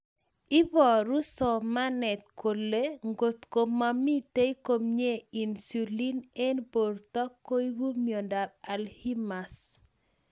Iporu somanet kole ngotko mamitei komnye insulin eng borto koipu miondap alzheimers